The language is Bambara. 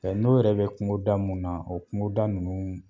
n'o yɛrɛ bi kungoda mun na o kungoda nunnu